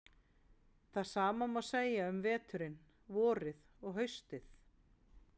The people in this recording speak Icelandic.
Það sama má segja um veturinn, vorið og haustið.